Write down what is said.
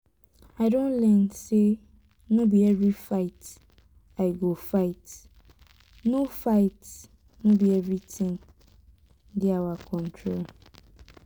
i don learn say no be every fight i go fight no fight no be everything dey our control